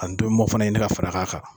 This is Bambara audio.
Ani tomi mɔn fara in ni ka fara k'a kan.